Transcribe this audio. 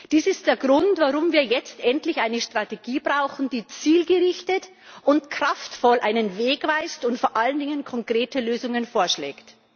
Dies ist der Grund, warum wir jetzt endlich eine Strategie brauchen, die zielgerichtet und kraftvoll einen Weg weist und vor allen Dingen konkrete Lösungen vorschlägt.